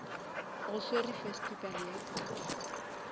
go swerwe festival ya kakapa